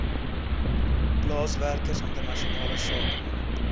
plaaswerkers internasionale sakemanne